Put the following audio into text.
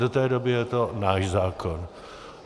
Do té doby je to náš zákon.